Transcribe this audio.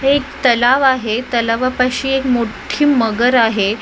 हे एक तलाव आहे तलावापाशी एक मोठी मगर आहे.